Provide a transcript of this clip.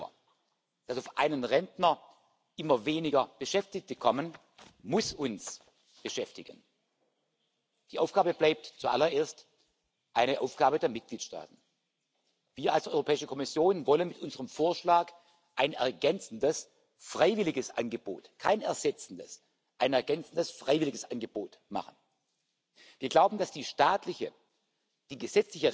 Pillar of Social Rights, Principle 15, highlights precisely this issue. It affirms the right of workers and the self employed in retirement to a pension which commensurate with their contributions and ensuring an adequate income. Furthermore, it highlights that women and men shall have equal opportunities to acquire pension